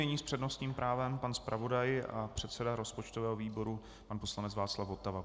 Nyní s přednostním právem pan zpravodaj a předseda rozpočtového výboru pan poslanec Václav Votava.